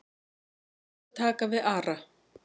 Ég skal taka við Ara.